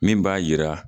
Min b'a yira